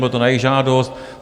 Bylo to na jejich žádost.